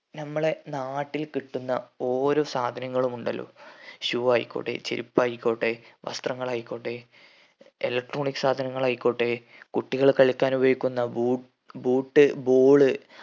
നമ്മളെ നാട്ടിൽ കിട്ടുന്ന ഓരോ സാധനങ്ങളും ഉണ്ടല്ലോ shoe ആയിക്കോട്ടെ ചെരുപ്പ് ആയിക്കോട്ടെ വസ്ത്രങ്ങൾ ആയിക്കോട്ടെ electronic സാധനങ്ങൾ ആയിക്കോട്ടെ കുട്ടികൾ കളിക്കാൻ ഉപയോഗിക്കുന്ന ബൂ boot ball